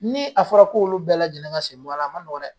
Ni a fɔra k'olu bɛɛ lajɛlen ka sen bɔ a la a ma nɔgɔn dɛ.